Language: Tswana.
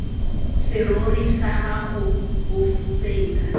serori sa gago bo feta